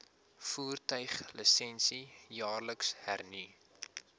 voertuiglisensie jaarliks hernu